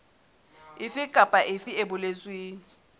efe kapa efe e boletsweng